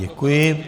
Děkuji.